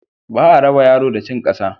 Ba a raba yaro da cin ƙasa.